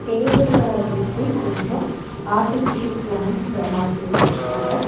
டேபுல சுத்தி கொஞ்சோ artificial plants மாட்டி வெச்சிருக்காங்க.